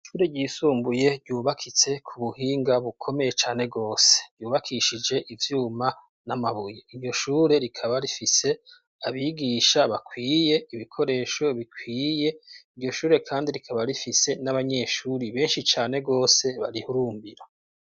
Ishure ryisumbuye ryubakitse k'ubuhinga bukomeye cane gose ryubakishije ivyuma n'amabuye. Iryoshure rikaba rifise abigisha bakwiye, ibikoresho bikwiye. Iryoshure kandi rikaba rifise n'abanyeshuri benshi cane gose barihurumbira.